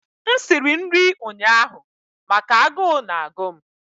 m siri nri ụnyaahụ maka agụụ na-agụ m